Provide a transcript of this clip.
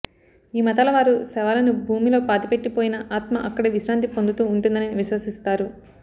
ఈ మతాల వారు శవాలని భూమిలో పాతిపెట్టి పోయిన ఆత్మ అక్కడే విశ్రాంతి పొందుతూ వుంటుందని విశ్వసిస్తారు